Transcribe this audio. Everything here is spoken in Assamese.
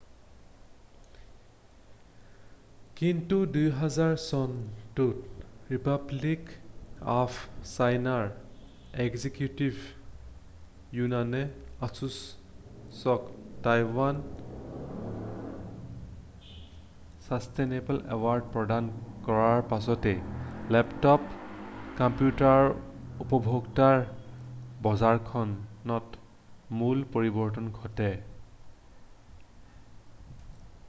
কিন্তু 2007 চনত ৰিপাব্লিক অৱ চাইনাৰ এক্সিকিউটিভ য়ুনানে asusক টাইৱান ছাছটেইনেবল এৱাৰ্ড প্ৰদান কৰাৰ পাছতে লেপটপ কম্পিউটাৰৰ উপভোক্তাৰ বজাৰখনত মূল পৰিৱৰ্তন ঘটে।